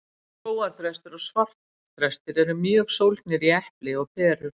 skógarþrestir og svartþrestir eru mjög sólgnir í epli og perur